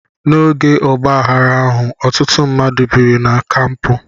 N'oge ọgbaaghara ahụ, ọtụtụ mmadụ biri na kampụ.